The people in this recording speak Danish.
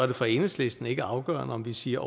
det for enhedslisten ikke afgørende om vi siger